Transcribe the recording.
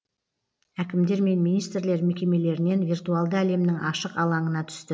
әкімдер мен министрлер мекемелерінен виртуалды әлемнің ашық алаңына түсті